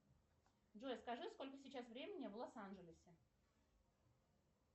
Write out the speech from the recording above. джой скажи сколько сейчас времени в лос анджелесе